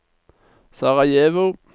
Sarajevo